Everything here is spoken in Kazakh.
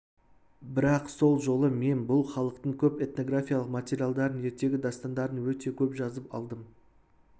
бірақ сол жолы мен бұл халықтың көп этнографиялық материалдарын ертегі дастандарын өте көп жазып алдым